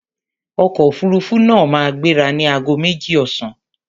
Ọkọ̀ òfuruufú náà máa gbéra ní ago méjì ọ̀sán.